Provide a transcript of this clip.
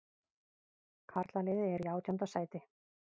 Karlaliðið er í átjánda sæti